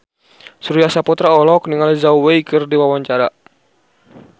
Surya Saputra olohok ningali Zhao Wei keur diwawancara